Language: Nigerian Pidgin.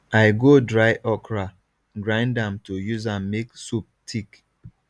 i go dry okra come grind am to use am make soup thick